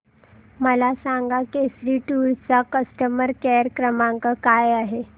मला सांगा केसरी टूअर्स चा कस्टमर केअर क्रमांक काय आहे